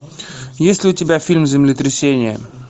есть ли у тебя фильм землетрясение